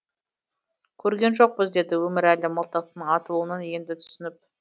көрген жоқпыз деді өмірәлі мылтықтың атылуын енді түсініп